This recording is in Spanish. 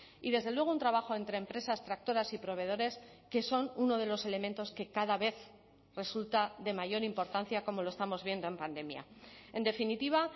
y desde luego un trabajo entre empresas tractoras y proveedores que son uno de los elementos que cada vez resulta de mayor importancia como lo estamos viendo en pandemia en definitiva